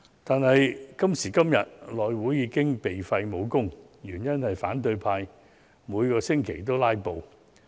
不過，今時今日，內務委員會已"被廢武功"，原因是反對派每星期皆在"拉布"。